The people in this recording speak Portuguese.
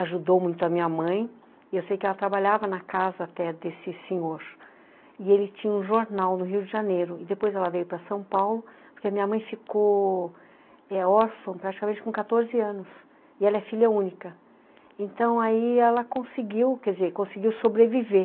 ajudou muito a minha mãe e eu sei que ela trabalhava na casa até desse senhor e ele tinha um jornal no Rio de Janeiro e depois ela veio para São Paulo porque a minha mãe ficou órfão praticamente com quatorze anos e ela é filha única então aí ela conseguiu, quer dizer, conseguiu sobreviver